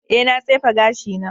Ee, na tsefe gashina.